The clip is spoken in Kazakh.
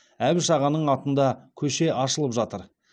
әбіш ағаның атында көше ашылып жатыр